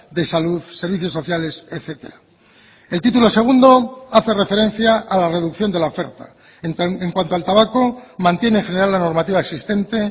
de salud servicios sociales etcétera el título segundo hace referencia a la reducción de la oferta en cuanto al tabaco mantiene general la normativa existente